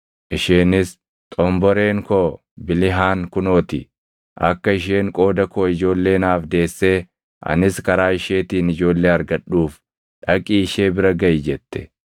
Isheenis, “Xomboreen koo Bilihaan kunoo ti; akka isheen qooda koo ijoollee naaf deessee anis karaa isheetiin ijoollee argadhuuf dhaqii ishee bira gaʼi” jette.